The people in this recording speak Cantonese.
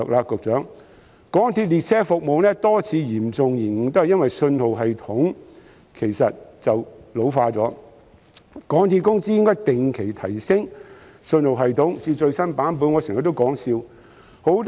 局長，港鐵列車服務過去多次嚴重延誤皆因信號系統老舊所致，港鐵公司應定期提升信號系統至最新版本。